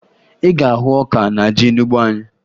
Ị ga-ahụ ọka na ji n'ugbo anyị